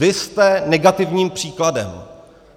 Vy jste negativním příkladem.